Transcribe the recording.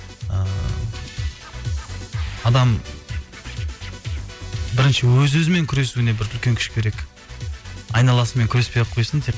ііі адам бірінші өз өзімен күресуіне бір үлкен күш керек айналасымен күреспей ақ қойсын тек